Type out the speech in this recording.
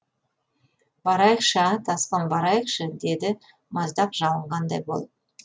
барайықшы а тасқын барайықшы деді маздақ жалынғандай болып